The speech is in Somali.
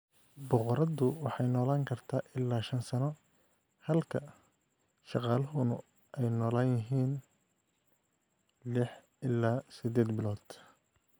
Boqoradu waxay noolaan kartaa ilaa shan sano, halka shaqaaluhuna ay nool yihiin lix ilaa siddeed bilood.